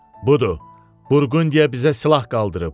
Budur, Burqundiya bizə silah qaldırıb.